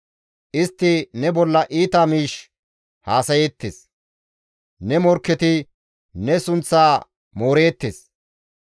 Istti ne bolla iita miish haasayeettes; ne morkketi ne sunththaa mooreettes.